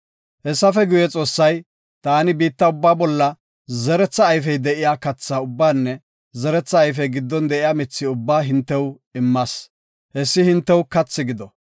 Hessafe guye, Xoossay, “Taani biitta ubbaa bolla zeretha ayfey de7iya katha ubbaanne zeretha ayfey giddon de7iya mithi ubbaa hintew immas; hessi hintew kathi gido.